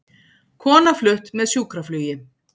Kona flutt með sjúkraflugi